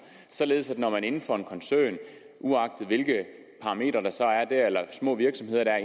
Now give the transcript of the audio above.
således at når man er inden for en koncern uagtet hvilke parametre der så er der eller små virksomheder der er